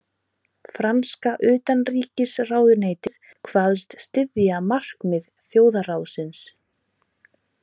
Franska utanríkisráðuneytið kvaðst styðja markmið þjóðarráðsins